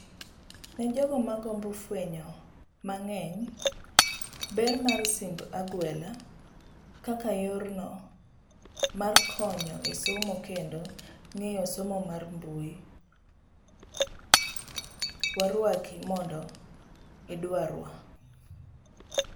Nejogo magombo fuenyo mang'eny, ber mar simb agwela, kaka yorno markonyo e somo kendo ng'eyo somo mar mbui, waruaki mondo idwarwa.